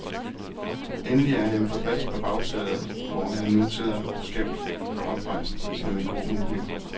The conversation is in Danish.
Endelig er han på plads på bagsædet, hvor han nu sidder, skævt, oprejst som en grå mumie.